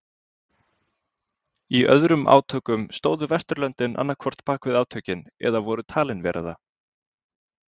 Í öðrum átökum stóðu Vesturlöndin annað hvort bakvið átökin eða voru talin vera það.